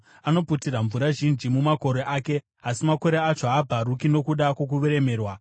Anoputira mvura zhinji mumakore ake; asi makore acho haabvaruki nokuda kwokuremerwa.